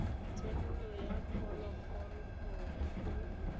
thebolo ya phologolo gore e